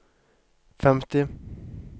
femti